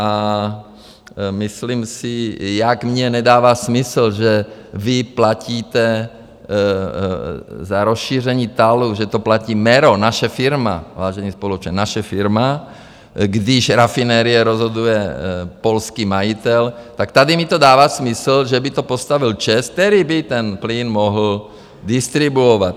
A myslím si, jak mně nedává smysl, že vy platíte za rozšíření TALu, že to platí MERO, naše firma, vážení spoluobčané, naše firma, když rafinérie rozhoduje polský majitel, tak tady mi to dává smysl, že by to postavil ČEZ, který by ten plyn mohl distribuovat.